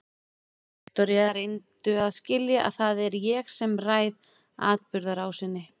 Viktoría, reyndu að skilja að það er ég sem ræð atburðarásinni.